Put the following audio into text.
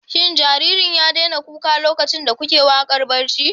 Shin jaririn ya daina kuka lokacin da kuke waƙar barci?